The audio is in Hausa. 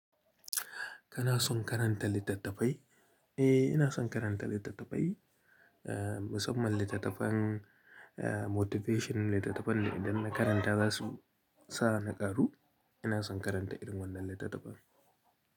Kana son karanta littattafai? Eh, ina son karanta littattafai, ah, musamman littattafan, ah, motivation littattafan da idan na karanta za su sa ni ƙaru. Ina son karanta irin wannan littattafan.